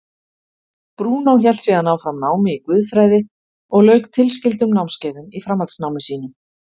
Brúnó hélt síðan áfram námi í guðfræði og lauk tilskildum námskeiðum í framhaldsnámi sínu.